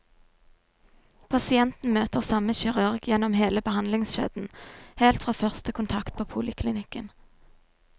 Pasienten møter samme kirurg gjennom hele behandlingskjeden, helt fra første kontakt på poliklinikken.